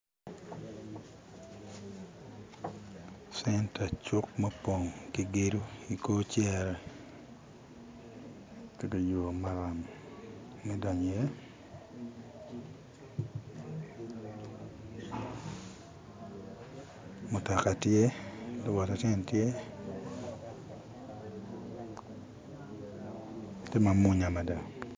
Centa cuk ma opong ki gedo i kor cere ki dong yo maram me donyo iye mutoka tye lawot acel tye, tye mamunya mada